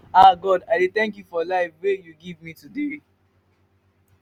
ah god i dey thank you for life wey you give me today.